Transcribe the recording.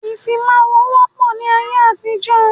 Ìfimawo wọ pọ ní ayé àtijó